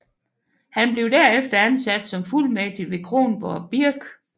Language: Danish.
Han blev derefter ansat som fuldmægtig ved Kronborg Birk